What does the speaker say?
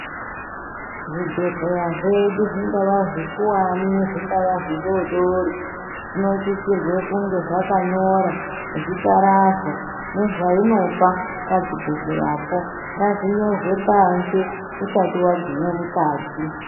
Zvibhedhleya zvedu zvingava zvikuwani zvingava zvidodori zvinosisirwe kunge zvakanyora zita razvo nezvainopa pachibhedhleyapo ngazvinyorwe panze usati wagumwe mukati .